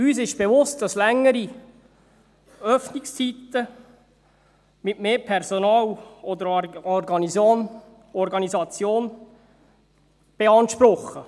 Uns ist bewusst, dass längere Öffnungszeiten mehr Personal oder auch Organisation beanspruchen.